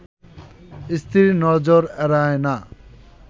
স্ত্রীর নজর এড়ায় না